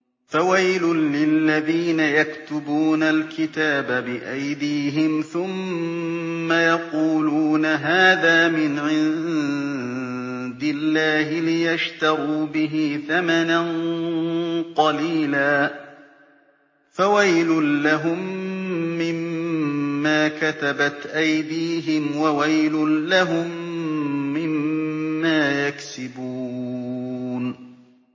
فَوَيْلٌ لِّلَّذِينَ يَكْتُبُونَ الْكِتَابَ بِأَيْدِيهِمْ ثُمَّ يَقُولُونَ هَٰذَا مِنْ عِندِ اللَّهِ لِيَشْتَرُوا بِهِ ثَمَنًا قَلِيلًا ۖ فَوَيْلٌ لَّهُم مِّمَّا كَتَبَتْ أَيْدِيهِمْ وَوَيْلٌ لَّهُم مِّمَّا يَكْسِبُونَ